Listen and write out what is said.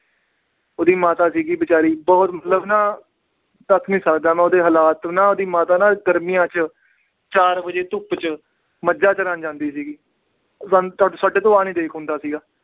ਉਹਦੀ ਮਾਤਾ ਸੀਗੀ ਬੇਚਾਰੀ ਬਹੁਤ ਮਤਲਬ ਨਾ ਦੱਸ ਨੀ ਸਕਦਾ ਮੈਂ ਉਹਦੇ ਹਾਲਾਤ ਨਾ ਉਹਦੀ ਮਾਤਾ ਨਾ ਗਰਮੀਆਂ 'ਚ ਚਾਰ ਵਜੇ ਧੁੱਪ 'ਚ ਮੱਝਾਂ ਚੁਰਾਉਣ ਜਾਂਦੀ ਸੀਗੀ, ਸਾਡੇ ਤੋਂ ਆਹ ਨੀ ਦੇਖ ਹੁੰਦਾ ਸੀਗਾ